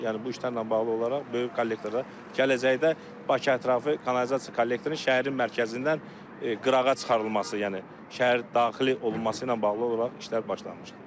Yəni bu işlərlə bağlı olaraq böyük kollektorda gələcəkdə Bakı ətrafı kanalizasiya kollektorun şəhərin mərkəzindən qırağa çıxarılması, yəni şəhər daxili olunması ilə bağlı olaraq işlər başlanmışdı.